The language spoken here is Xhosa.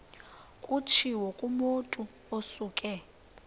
kutshiwo kumotu osuke